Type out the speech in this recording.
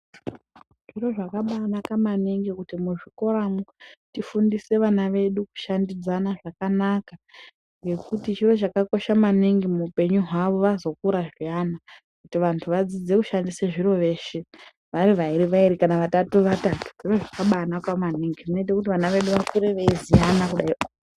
Zviro zvakabanaka maningi kuti muzvikoramo tifundise vana vedu kushandidzana zvakanaka ngekuti chiro chakakosha maningi muupenyu hwavo vazokura zviyana kuti vantu vadzidze kushandisa zviro veshe vari vairi vairi kana vatatu vatatu zviro zvakabanaka maningi zvinoita kuti vana vedu vakure veiziya kudaio.